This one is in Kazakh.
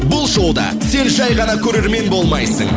бұл шоуда сен жай ғана көрермен болмайсың